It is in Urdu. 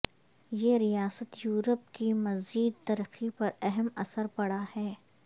یہ ریاست یورپ کی مزید ترقی پر اہم اثر پڑا ہے